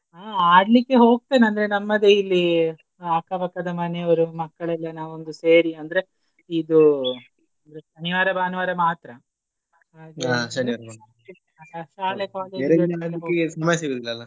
ಆ ಆಡ್ಲಿಕ್ಕೆ ಹೋಗ್ತೇನೆ ಅಂದ್ರೆ ನಮ್ಮದೇ ಇಲ್ಲಿ ಅಕ್ಕಪಕ್ಕದ ಮನೆಯವರು ಮಕ್ಕಳೆಲ್ಲ ನಾವೊಂದು ಸೇರಿ ಅಂದ್ರೆ ಇದು ಶನಿವಾರ ಭಾನುವಾರ ಮಾತ್ರ .